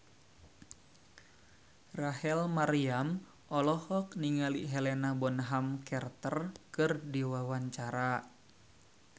Rachel Maryam olohok ningali Helena Bonham Carter keur diwawancara